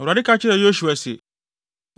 Awurade ka kyerɛɛ Yosua se,